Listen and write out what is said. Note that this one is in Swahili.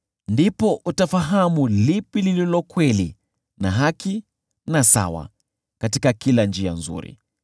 Ndipo utafahamu lipi lililo kweli na haki na sawa: yaani kila njia nzuri.